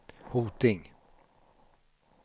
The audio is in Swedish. Hoting